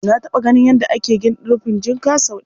Na taɓa ganin yadda ake rufin jinka sau ɗaya.